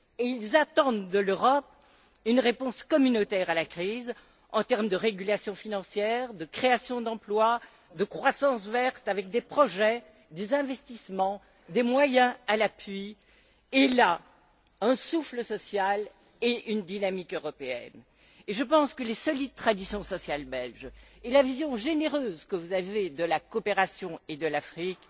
Ils attendent de l'Europe une réponse communautaire à la crise en termes de régulation financière, de création d'emplois, de croissance verte avec des projets, des investissements, des moyens à l'appui et, au final, un souffle social et une dynamique européenne. Je pense que les solides traditions sociales belges et la vision généreuse que vous avez de la coopération et de l'Afrique